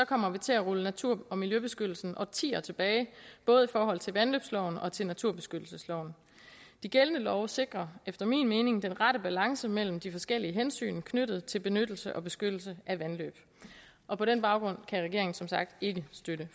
kommer vi til at rulle natur og miljøbeskyttelsen årtier tilbage både i forhold til vandløbsloven og til naturbeskyttelsesloven de gældende love sikrer efter min mening den rette balance mellem de forskellige hensyn knyttet til benyttelse og beskyttelse af vandløb og på den baggrund kan regeringen som sagt ikke støtte